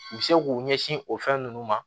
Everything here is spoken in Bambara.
U bɛ se k'u ɲɛsin o fɛn ninnu ma